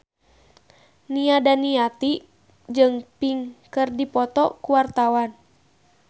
Nia Daniati jeung Pink keur dipoto ku wartawan